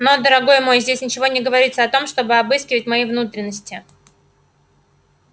но дорогой мой здесь ничего не говорится о том чтобы обыскивать мои внутренности